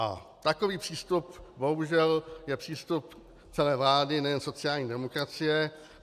A takový přístup bohužel je přístup celé vlády, nejen sociální demokracie.